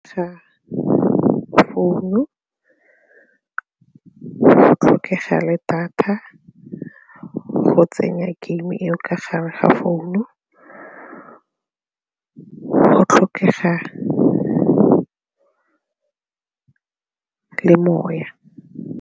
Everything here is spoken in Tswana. Ga founu, go tlhokega le data go tsenya game-e eo ka gare ga founu, go tlhokega le le moya.